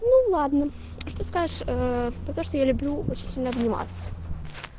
ну ладно что скажешь про то ээ что я люблю очень сильно обниматься